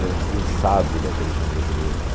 Já dizia o sábio da televisão brasileira, né?